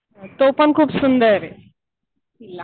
तो पण सुंदर आहे किल्ला.